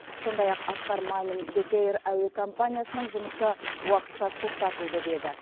сондай ақ асқар мамин бек эйр әуе компаниясының жұмысы уақытша тоқтатылды деді